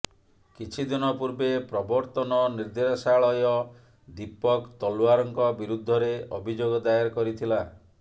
କିଛିଦିନ ପୂର୍ବେ ପ୍ରବର୍ତ୍ତନ ନିର୍ଦ୍ଦେଶାଳୟ ଦୀପକ୍ ତଲ୍ୱାର୍ଙ୍କ ବିରୁଦ୍ଧରେ ଅଭିଯୋଗ ଦାଏର କରିଥିଲା